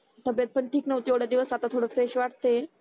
तब्येत पण ठीक नव्हती एवढ्या दिवस आता थोड फ्रेश वाटते